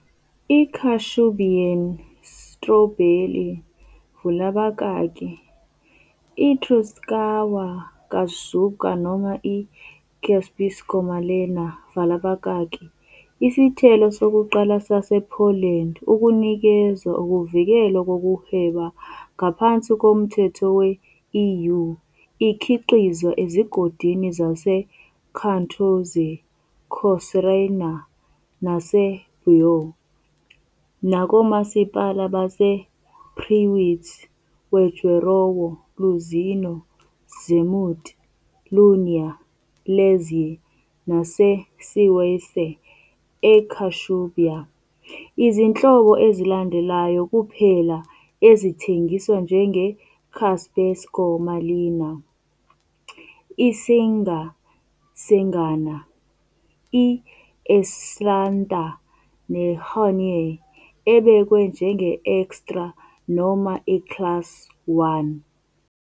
I-Kashubian sitrobheli vula abakaki "iTruskawka kaszubska" noma i- "Kaszëbskô malëna" vala abakakiisithelo sokuqala sasePoland ukunikezwa ukuvikelwa kokuhweba ngaphansi komthetho we-EU. Ikhiqizwa ezigodini zaseKartuzy, eKościerzyna naseBytów nakomasipala basePrzywidz, Wejherowo, Luzino, Szemud, Linia, Łęczyce naseCewice eKashubia. Izinhlobo ezilandelayo kuphela ezingathengiswa njenge- "kaszëbskô malëna" - iSenga Sengana, i-Elsanta, i-Honeoye ebekwe njenge-Extra noma i-Class I.